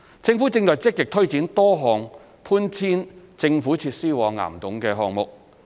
政府正積極推展多項搬遷政府設施往岩洞的項目。